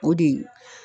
O de